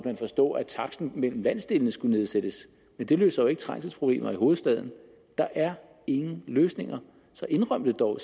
man forstå at taksten mellem landsdelene skulle nedsættes men det løser ikke trængselsproblemer i hovedstaden der er ingen løsninger så indrøm det dog og